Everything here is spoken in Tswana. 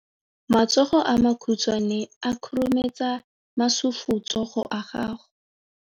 Matsogo a makhutshwane a khurumetsa masufutsogo a gago.